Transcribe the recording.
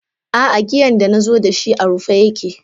Aa giyan da nazo dashi a rufe yake.